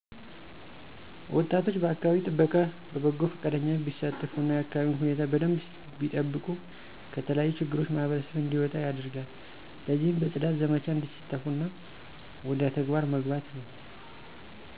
ወጣቶች በአከባቢ ጥበቃ በበጎ ፈቃደኝነት ቢሳተፉ እና የአከባቢውን ሁኔታ በደንብ ቢጠብቁ ከተለያዩ ችግሮች ማህበረሰብ እንዲወጣ ያደርጋል። ለዚህም በጽዳት ዘመቻ እንዲሳተፉ እና ወደ ተግባር መግባት ነው